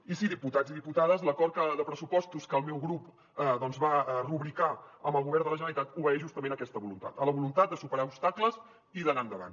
i sí diputats i diputades l’acord de pressupostos que el meu grup va rubricar amb el govern de la generalitat obeeix justament a aquesta voluntat a la voluntat de superar obstacles i d’anar endavant